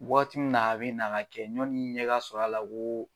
Wagati mun na, a bi na ka kɛ yani ɲɛ ka sɔrɔ a la, u ko